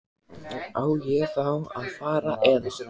Á ég þá að fara. eða?